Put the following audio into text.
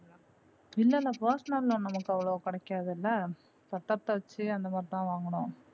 இல்ல இல்ல personal loan ல நமக்கு அவ்ளோவா கிடைக்காதுல பத்தரத்த வச்சு அந்தமாதிரி வாங்குனோம்.